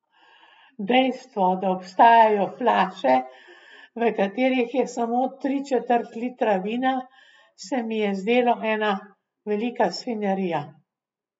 Dejstvo, da obstajajo flaše, v katerih je samo tri četrt litra vina, se mi je zdelo ena velika svinjarija.